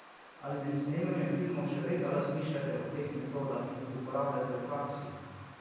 Ali med snemanjem filmov še vedno razmišljate o teh metodah in jih uporabljate v praksi?